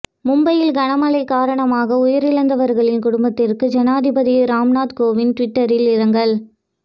மும்பையில் கனமழை காரணமாக உயிரிழந்தவர்களின் குடும்பத்திற்கு ஜனாதிபதி ராம்நாத் கோவிந்த் ட்வீட்டாில் இரங்கல்